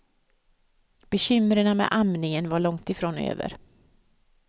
Bekymmerna med amningen var långt ifrån över.